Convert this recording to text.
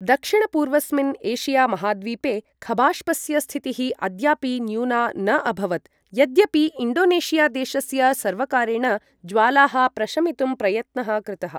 दक्षिणपूर्वस्मिन् Asia महाद्वीपे खबाष्पस्य स्थितिः अद्यापि न्यूना न अभवत्, यद्यपि इण्डोनेशिया देशस्य सर्वकारेण ज्वालाः प्रशमितुं प्रयत्नः कृतः।